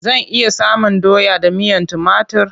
Zan iya samun doya da miyan timatur?